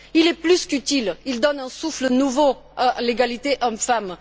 Il est plus qu'utile, il donne un souffle nouveau à l'égalité hommes femmes.